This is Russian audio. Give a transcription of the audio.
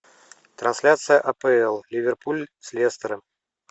трансляция апл ливерпуль с лестером